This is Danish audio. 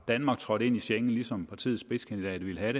danmark trådte ind i schengen ligesom partiets spidskandidat ville have